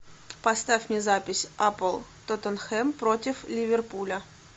поставь мне запись апл тоттенхэм против ливерпуля